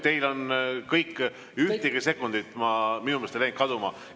Teil on kõik, ühtegi sekundit minu meelest ei läinud kaduma.